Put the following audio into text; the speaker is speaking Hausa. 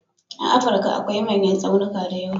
A Afrika akwai manyan tsaunika da yawa.